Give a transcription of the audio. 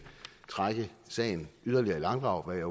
trække sagen yderligere i langdrag hvad jeg